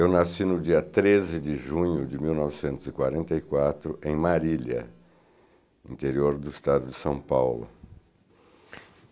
Eu nasci no dia treze de junho de mil novecentos e quarenta e quatro, em Marília, interior do estado de São Paulo.